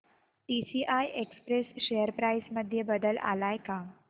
TCI Express share price मध्ये बदल आलाय का